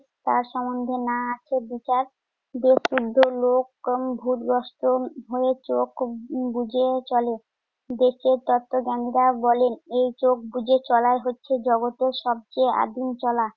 তার সম্বন্ধে না আসে বিচার। দেশশুদ্ধ লোক ভুতগ্রস্ত হয়ে চোখ উম বুজে চলে। দেশের তত্বজ্ঞানীরা বলেন, এই চোখ বুজে চলাই হচ্ছে জগতের সবচেয়ে আদিম চলা।